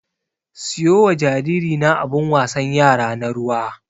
Siyo wa jariri na abun wasan yara na ruwa.